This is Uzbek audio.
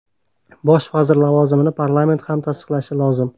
Bosh vazir lavozimini parlament ham tasdiqlashi lozim.